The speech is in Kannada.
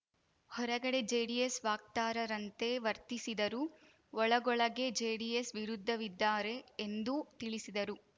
ಹೊರಗಡೆ ಜೆಡಿಎಸ್‌ ವಾಕ್ತಾರರಂತೆ ವರ್ತಿಸಿದರೂ ಒಳಗೊಳಗೇ ಜೆಡಿಎಸ್‌ ವಿರುದ್ಧವಿದ್ದಾರೆ ಎಂದೂ ತಿಳಿಸಿದರು